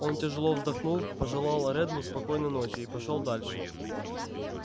он тяжёло вздохнул пожелал реддлу спокойной ночи и пошёл дальше